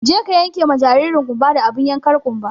Je ka yenke ma jaririn ƙumba da abin yankar ƙumba!